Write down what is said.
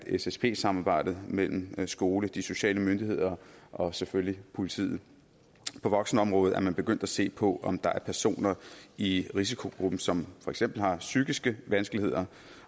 ssp samarbejdet mellem skole de sociale myndigheder og selvfølgelig politiet på voksenområdet er man begyndt at se på om der er personer i risikogruppen som for eksempel har psykiske vanskeligheder